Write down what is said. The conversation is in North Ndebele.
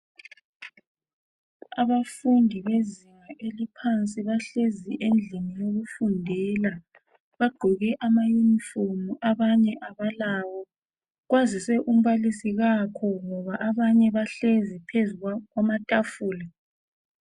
Abafundi bezinga eliphansi bahlezi endlini yokufundela. Bagqoke amayunifomu abanye abalawo kwazise umbalisi kakho ngoba abanye bahlezi phezu kwamatafula.